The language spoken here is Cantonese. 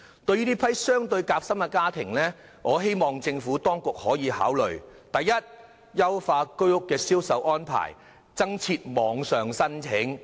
對於這批較為夾心的家庭，我希望政府當局可以考慮以下建議：第一，優化居屋的銷售安排，增設網上申請。